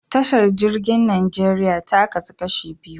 Tashar jirgin Najeriya ta kasu kashi biyu.